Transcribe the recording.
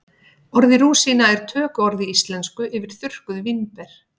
orðið rúsína er tökuorð í íslensku yfir þurrkuð vínber